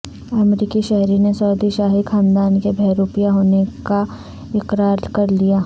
امریکی شہری نے سعودی شاہی خاندان کے بہروپیہ ہونے کاا قرار کرلیا